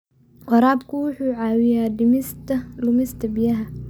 Waraabka wuxuu caawiyaa dhimista lumista biyaha.